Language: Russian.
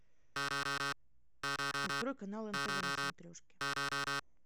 открой канал нтв на смотрешке